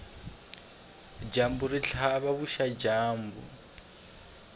dyambu ri tlhava vuxadyambu